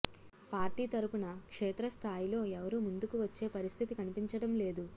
party తరఫున క్షేత్రస్థాయిలో ఎవరూ ముందుకు వచ్చే పరిస్థితి కనిపించడం లేదు